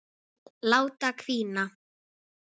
Láta hvína.